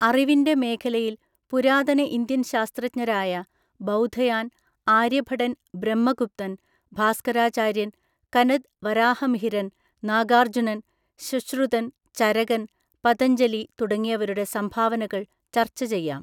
അറിവിന്റെ മേഖലയിൽ പുരാതന ഇന്ത്യൻ ശാസ്ത്രജ്ഞരായ ബൗധയാൻ ആര്യഭടൻ ബ്രഹ്മഗുപ്തൻ ഭാസ്കരാചാര്യൻ കനദ് വരാഹമിഹിരൻ നാഗാർജ്ജുനൻ ശുശ്രുതൻ ചരകൻ പതഞ്ജലി തുടങ്ങിയവരുടെ സംഭാവനകൾ ചർച്ചചെയ്യാം.